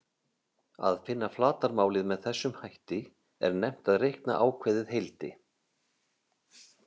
Að finna flatarmálið með þessum hætti er nefnt að reikna ákveðið heildi.